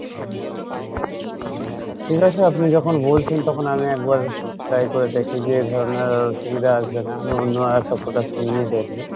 ঠিক আছে আপনি যখন বলছেন, তখন আমি একবার try করে দেখি যে এ ধরনের অসুবিধা আসবে না আমি অন্য আর একটা product নিয়ে দেখবো।